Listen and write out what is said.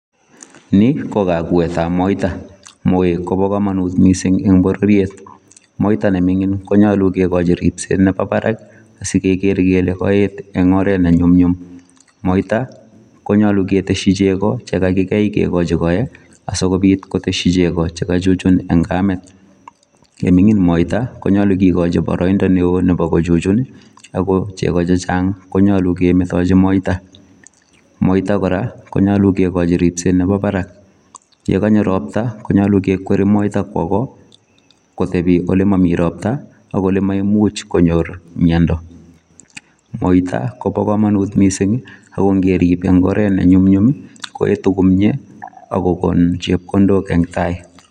Ni ko kakuetap moita. Moek kopo komonut mising eng bororiet. Moita neming'in konyolu kekochi ripset nepo barak asikeker kele kaet eng oret nenyumnyum. Moita konyolu keteshi chego chekakikei kekochi koe asikobit koteshi chego chekachuchun eng kamet. Yeming'in moita konyolu kikochi boroindo neo nepo kuchuchun ako chego chechang konyolu kemetochi moita. Moita kora, konyolu kekochi ripset nepo barak. Yekanyo ropta, konyolu kekweri moita kwo ko, kotepi olemomi ropta, ak ole maimuch konyor myendo . Moita kopo komonut mising ako ngerip eng oret nenyumnyum koetu komie ak kokon chepkondok eng tai.